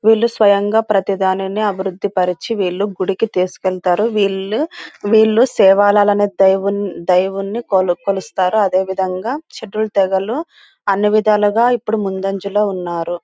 వీళ్ళు స్వయంగా ప్రతి దానిని అభివృద్ధి పరచి వీళ్లు గుడికి తీసుకెళ్తారు. వీళ్ళు దైవున్ని కొలు- కొలుస్తారు. అదేవిదంగా షెడ్యూల్ తెగలు అన్ని విధాలుగా ఇప్పుడు ముందంజలో ఉన్నారు.